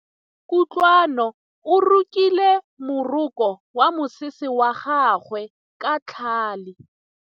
Kutlwanô o rokile morokô wa mosese wa gagwe ka tlhale.